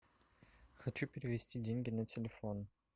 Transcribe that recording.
хочу перевести деньги на телефон